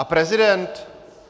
A prezident?